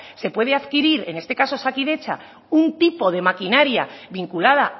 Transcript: se puede adquirir en este caso osakidetza un tipo de maquinaria vinculada